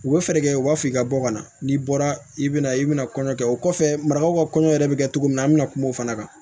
U bɛ fɛɛrɛ kɛ u b'a fɔ i ka bɔ ka na n'i bɔra i bɛna i bɛna kɔɲɔkɛ o kɔfɛ marakaw ka kɔɲɔ yɛrɛ bɛ kɛ cogo min na an bɛna kuma o fana kan